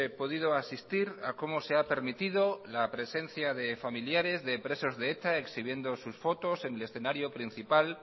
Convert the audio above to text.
podido asistir a cómo se ha permitido la presencia de familiares de presos de eta exhibiendo sus fotos en el escenario principal